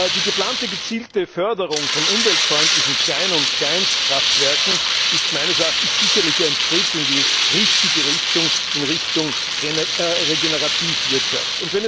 Die geplante gezielte Förderung von umweltfreundlichen Klein und Kleinstkraftwerken ist meines Erachtens sicherlich ein Schritt in die richtige Richtung in Richtung Regenerativwirtschaft.